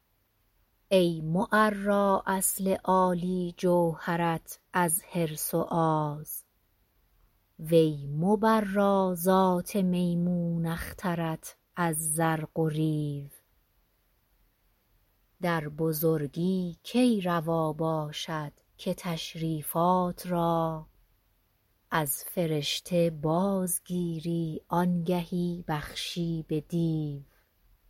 ای معرا اصل عالی جوهرت از حرص و آز وی مبرا ذات میمون اخترت از زرق و ریو در بزرگی کی روا باشد که تشریفات را از فرشته بازگیری آنگهی بخشی به دیو